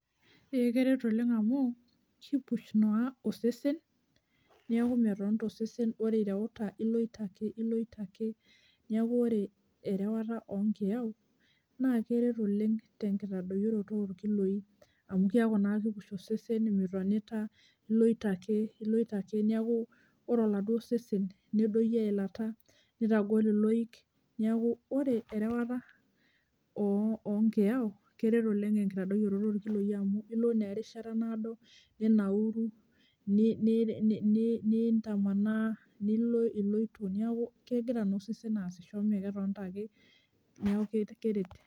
Ee keret oleng amu kipush naa osesen niaku metonita osesen , ore ireuta iloito ake, iloito ake . Niaku ore erewata oonkiyau naa keret oleng tenkitadoyioroto onkiloi amu kiaku naa kipush osesen , mitonita , iloito ake, iloito ake , niaku ore oladuo sesen nedoyio eilata nitagol iloik niaku ore erewata oo onkiyau keret oleng tenkitadoyioto onkiloi amu ilo naa erishata naado ninauru, ni, ni nintamanaa, nilo iloito niaku kegira naa osesen aasisho mmee ketonita ake niaku keret.